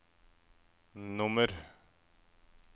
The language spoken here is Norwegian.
nummer